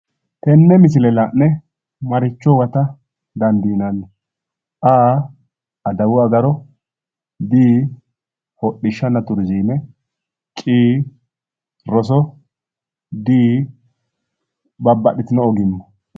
Tenne misile la'ne maricho huwata dandiinanni? a) adawu agaro b) hodhishshanna turiziime c) roso d) babbaxxitino ogimma